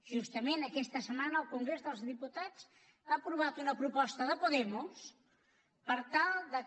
justament aquesta setmana el congrés dels diputats ha aprovat una proposta de podemos per tal que